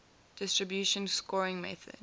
distribution scoring method